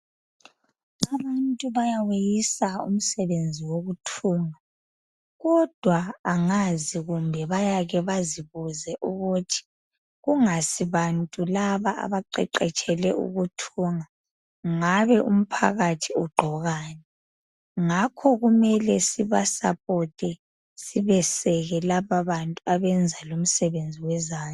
Abantu bayaweyisa umsebenzi wokuthunga kodwa angazi kumbe bayake bazibuze ukuthi kungasi bantu laba abaqeqetshele ukuthunga ngabe umphakathi ugqokani ngakho kumele sibeseke lapho abenza lumsebenzi wezandla